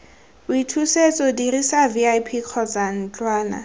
boithusetso dirisa vip kgotsa ntlwana